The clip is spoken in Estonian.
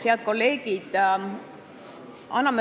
Head kolleegid!